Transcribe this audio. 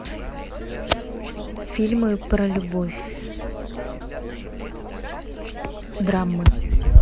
фильмы про любовь драмы